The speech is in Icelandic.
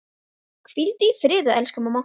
Hvíldu í friði elsku mamma.